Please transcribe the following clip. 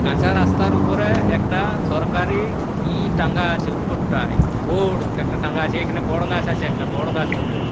কাঁচা রাস্তার উপরে একটা সরকারি ই টাঙ্গা আছে উপরটাই। বড় একটা টাঙ্গা আছে। এখানে বড় গাছ আছে একটা বড় গাছ বটে।